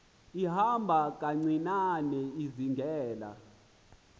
ihamba kancinane izingela